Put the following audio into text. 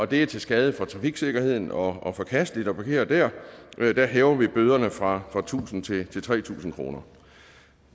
det er til skade for trafiksikkerheden og forkasteligt at parkere dér dér hæver vi bøderne fra tusind til tre tusind kroner